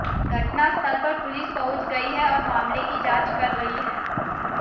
घटना स्थल पर पुलिस पहुंच गई है और मामले की जांच कर रही है